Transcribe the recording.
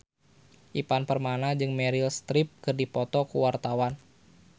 Ivan Permana jeung Meryl Streep keur dipoto ku wartawan